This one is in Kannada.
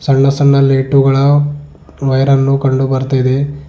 ಸಣ್ಣ ಸಣ್ಣ ಲೈಟುಗಳ ವೈರ ನ್ನು ಕಂಡು ಬರ್ತಾಯಿದೆ.